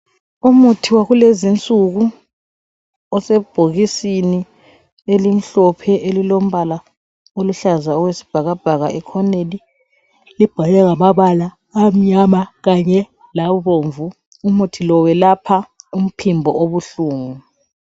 Umuthi wakulezinsuku osebhokisini elimhlophe elilombala oluhlaza okwesibhakabhaka ekhoneni libhalwe ngamabala amnyama kanye labomvu. Umuthi lo welapha umphimbo obuhlungu.